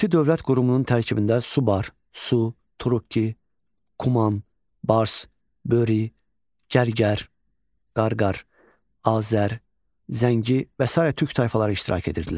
Kuti dövlət qurumunun tərkibində Subar, Su, Turukki, Kuman, Bars, Böri, Gərgər, Qarqar, Azər, Zəngi və sair türk tayfaları iştirak edirdilər.